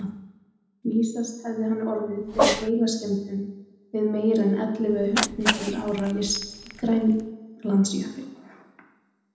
Vísast hefði hann orðið fyrir heilaskemmdum við meira en ellefu hundruð ára vist í Grænlandsjökli.